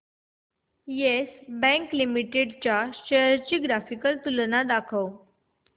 yes Bank limited च्या shares ची graphical तुलना दाखव